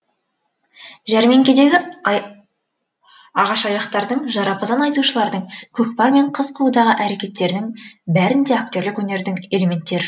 жәрмеңкедегі ағашаяқтардың жарапазан айтушылардың көкпар мен қыз қууда әрекеттердің бәрінде актерлік өнердің элементтер